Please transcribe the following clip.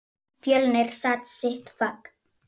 Fjölnir kann sitt fag.